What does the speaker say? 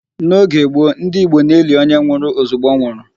N'oge gboo, ndị Igbo na-eli onye nwụrụ ozugbo ọ nwụrụ.